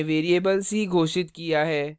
यहाँ हमने variable c घोषित की है